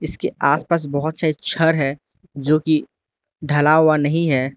इसके आस पास बहोत सारे छर है जो की ढला हुआ नहीं है।